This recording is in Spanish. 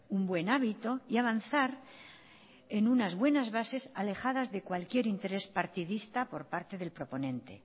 un buen hábito y avanzar en unas buenas bases alejadas de cualquier interés partidista por parte del proponente